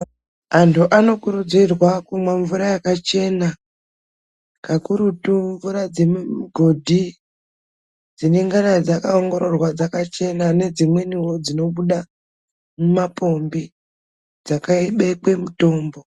Antu anokurudzirwa kumwa mvura yakachena kakurutu mvura dzemimigodhi dzinongana dzakaongororwa dzakachena nedzimweniwo dzinobuda mumapombi dzakabekwe mitombo.